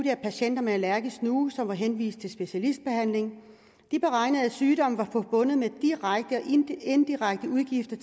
af patienter med allergisk snue som var henvist til specialistbehandling de beregnede at sygdommen var forbundet med direkte og indirekte udgifter